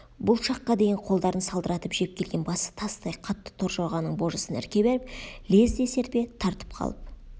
бұл шаққа дейін қолдарын салдыратып жеп келген басы тастай қатты торжорғаның божысын ірке беріп лезде серпе тартып қалып